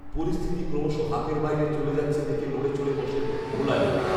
পরিস্থিতি ক্রমশঃ হাতের বাইরে চলে যাচ্ছে দেখে নড়েচড়ে বসেন মুলায়ম